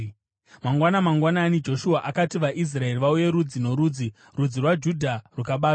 Mangwana mangwanani Joshua akati vaIsraeri vauye rudzi norudzi; rudzi rwaJudha rukabatwa.